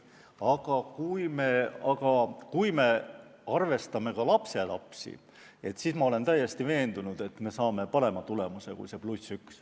Aga kui me arvestame ka lapselapsi, siis ma olen täiesti veendunud, et me saame parema tulemuse kui see +1.